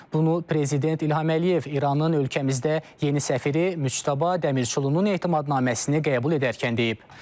Bunu Prezident İlham Əliyev İranın ölkəmizdə yeni səfiri Müçtəba Dəmirçulunun etimadnaməsini qəbul edərkən deyib.